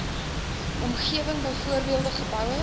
omgewing byvoorbeeld geboue